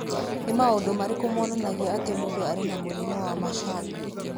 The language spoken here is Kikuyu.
Nĩ maũndũ marĩkũ monanagia atĩ mũndũ arĩ na mũrimũ wa Marshall?